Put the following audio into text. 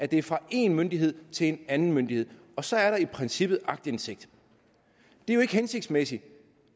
det er fra én myndighed til en anden myndighed og så er der i princippet aktindsigt det er jo ikke hensigtsmæssigt